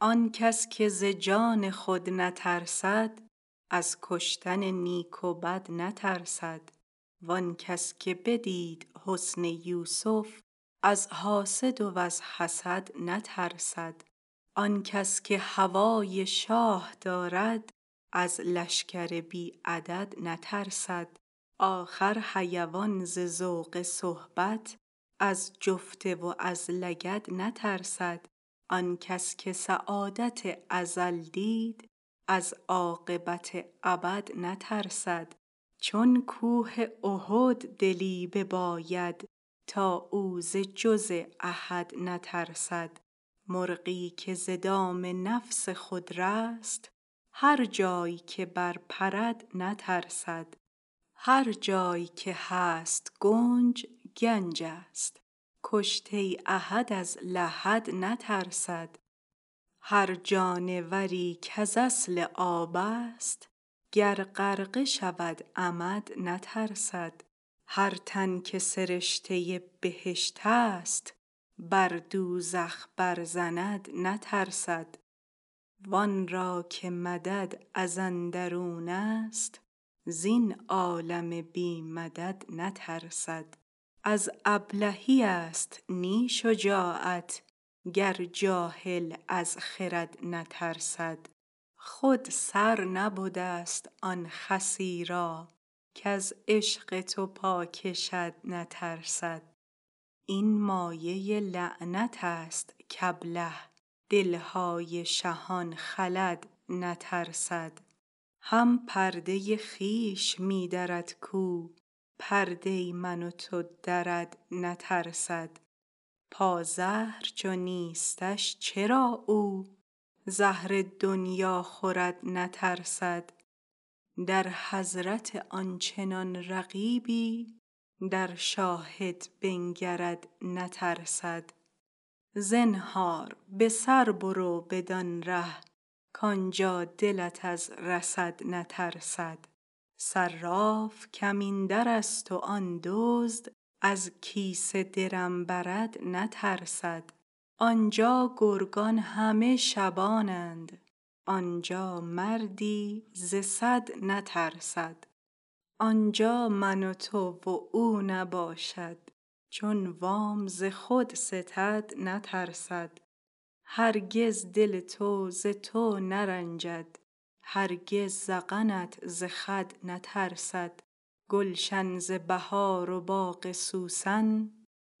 آن کس که ز جان خود نترسد از کشتن نیک و بد نترسد وان کس که بدید حسن یوسف از حاسد و از حسد نترسد آن کس که هوای شاه دارد از لشکر بی عدد نترسد آخر حیوان ز ذوق صحبت از جفته و از لگد نترسد آن کس که سعادت ازل دید از عاقبت ابد نترسد چون کوه احد دلی بباید تا او ز جز احد نترسد مرغی که ز دام نفس خود رست هر جای که برپرد نترسد هر جای که هست گنج گنجست کشته احد از لحد نترسد هر جانوری کز اصل آبست گر غرقه شود عمد نترسد هر تن که سرشته بهشتست بر دوزخ برزند نترسد وان را که مدد از اندرونست زین عالم بی مدد نترسد از ابلهیست نی شجاعت گر جاهل از خرد نترسد خود سر نبدست آن خسی را کز عشق تو پا کشد نترسد این مایه لعنتست کابله دل های شهان خلد نترسد هم پرده خویش می درد کو پرده من و تو درد نترسد پازهر چو نیستش چرا او زهر دنیا خورد نترسد در حضرت آن چنان رقیبی در شاهد بنگرد نترسد زنهار به سر برو بدان ره کان جا دلت از رصد نترسد صراف کمین درست و آن دزد از کیسه درم برد نترسد آن جا گرگان همه شبانند آن جا مردی ز صد نترسد آن جا من و تو و او نباشد چون وام ز خود ستد نترسد هرگز دل تو ز تو نرنجد هرگز ذقنت ز خد نترسد گلشن ز بهار و باغ سوسن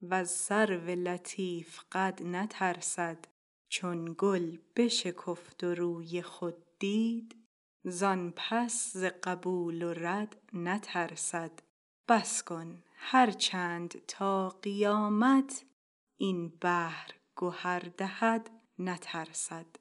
وز سرو لطیف قد نترسد چون گل بشکفت و روی خود دید زان پس ز قبول و رد نترسد بس کن هر چند تا قیامت این بحر گهر دهد نترسد